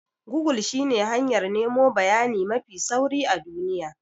Gogul shine hanyar nemo bayani mafi sauri a duniya.